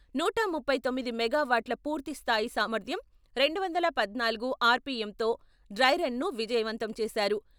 నూట ముప్పై తొమ్మిది మెగా వాట్ల పూర్తి స్థాయి సామర్థ్యం, రెండు వందల పద్నాలుగు ఆర్.పి.ఎం.తో డ్రై రను విజయవంతం చేసారు.